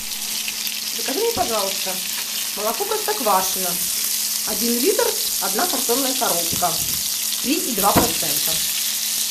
закажи мне пожалуйста молоко простоквашино один литр одна картонная коробка три и два процента